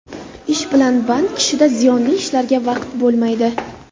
Ish bilan band kishida ziyonli ishlarga vaqt bo‘lmaydi.